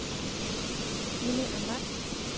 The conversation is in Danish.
Jimmi Ahmad